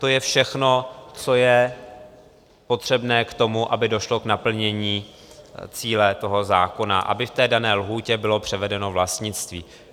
To je všechno, co je potřebné k tomu, aby došlo k naplnění cíle toho zákona, aby v té dané lhůtě bylo převedeno vlastnictví.